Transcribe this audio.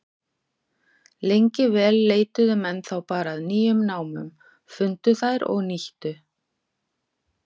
Lengi vel leituðu menn þá bara að nýjum námum, fundu þær og nýttu.